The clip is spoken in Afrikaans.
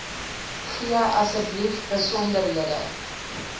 gee asseblief besonderhede